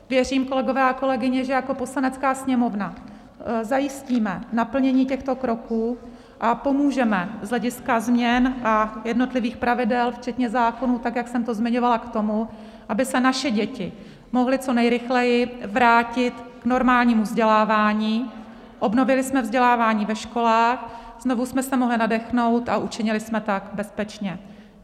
Věřím, kolegové a kolegyně, že jako Poslanecká sněmovna zajistíme naplnění těchto kroků a pomůžeme z hlediska změn a jednotlivých pravidel včetně zákonů, tak jak jsem to zmiňovala, k tomu, aby se naše děti mohly co nejrychleji vrátit k normálnímu vzdělávání, obnovili jsme vzdělávání ve školách, znovu jsme se mohli nadechnout a učinili jsme tak bezpečně.